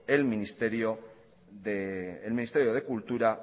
el ministerio de cultura